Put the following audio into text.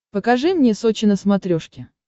покажи мне сочи на смотрешке